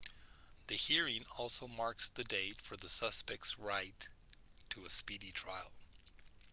the hearing also marks the date for the suspect's right to a speedy trial